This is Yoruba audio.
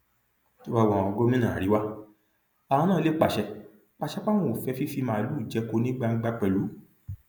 tó bá wu àwọn gómìnà àríwá àwọn náà lè pàṣẹ pàṣẹ páwọn ò fẹ fífi màálùú jẹko ní gbangba pẹlú